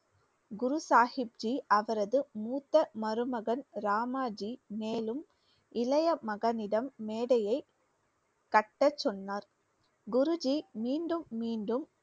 குரு சாஹிப்ஜி அவரது மூத்த மருமகன் ராமாஜி மேலும் இளைய மகனிடம் மேடையை கட்டச்சொன்னார். குருஜி மீண்டும் மீண்டும்